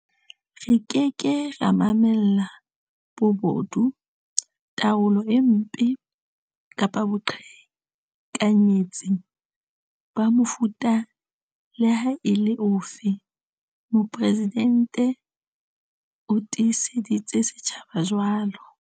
Re ke ke ra mamella bobodu, taolo e mpe kapa boqhekanyetsi ba mofuta le ha e le ofe, Mopresidente o tiiseditse setjhaba jwalo.